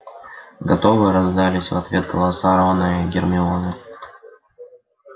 готовы раздались в ответ голоса рона и гермионы